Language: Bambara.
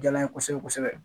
Diyala n ye kosɛbɛ kosɛbɛ